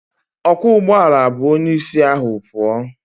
Ọkwọụgbọala bu onyeisi ahụ pụọ